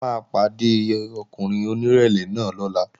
A máa pàdé ọkùnrin onírẹ̀lẹ̀ náà lọ́la